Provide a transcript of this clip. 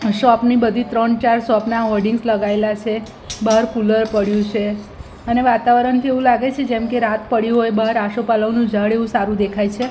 Shop ની બધી ત્રણ ચાર શોપ ના હોર્ડિંગ્સ લગાઇલા છે બાર કુલર પડ્યું છે અને વાતાવરણ કેવું લાગે છે જેમકે રાત પડ્યું હોય બાર આસોપાલવનું ઝાડ એવું સારું દેખાય છે.